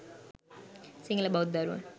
සිංහල බෞද්ධ දරුවන්